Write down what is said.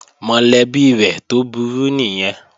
Mọ̀lẹ́bí rẹ̀ tó burú nìyẹn